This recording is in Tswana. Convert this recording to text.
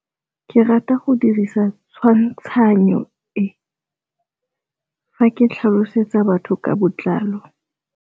Ke rata go dirisa tshwantshanyô e, fa ke tlhalosetsa batho ka botlalo.